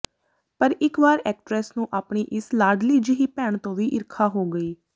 ਪਰ ਇਕ ਵਾਰ ਐਕਟਰੈਸ ਨੂੰ ਆਪਣੀ ਇਸ ਲਾਡਲੀ ਜਿਹੀ ਭੈਣ ਤੋਂ ਵੀ ਈਰਖਾ ਹੋ ਗਈ